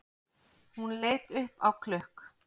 Hún leit upp á klukk